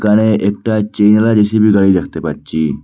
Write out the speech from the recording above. এখানে একটা গাড়ি দেখতে পাচ্চি ।